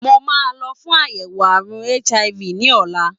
Mo máa lọ fún àyẹ̀wò àrùn HIV ní ọ̀la.